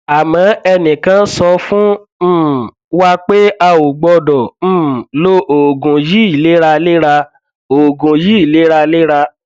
àmọ ẹnìkan sọ fún um wa pé a ò gbọdọ um lo oògùn yìí léraléra oògùn yìí léraléra